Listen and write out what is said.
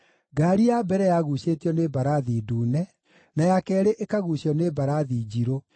Ngaari ya mbere yaguucĩtio nĩ mbarathi ndune, na ya keerĩ ĩkaguucio nĩ mbarathi njirũ,